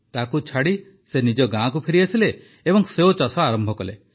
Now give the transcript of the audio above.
ତାକୁ ଛାଡ଼ି ସେ ନିଜ ଗାଁକୁ ଫେରିଆସିଲେ ଏବଂ ସେଓ ଚାଷ ଆରମ୍ଭ କଲେ